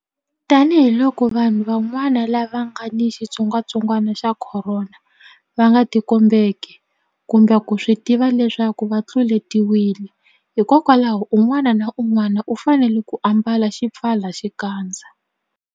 Tanihiloko vanhu van'wana lava nga ni xitsongwantsongwana xa Khorona va nga tikombeki kumbe ku swi tiva leswaku va tluletiwile, hikwalaho un'wana na un'wana u fanele ku ambala xipfalaxikandza.